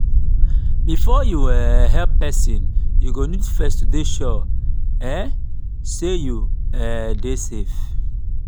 before you um help persin you go need to first dey sure um sey you um dey safe